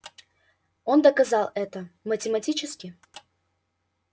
он доказал это математически